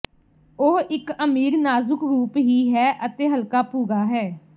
ਉਹ ਇੱਕ ਅਮੀਰ ਨਾਜ਼ੁਕ ਰੂਪ ਹੀ ਹੈ ਅਤੇ ਹਲਕਾ ਭੂਰਾ ਹੈ